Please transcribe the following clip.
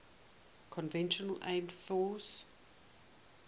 conventional armed forces